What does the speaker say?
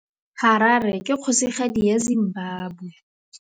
Harare ke kgosigadi ya Zimbabwe.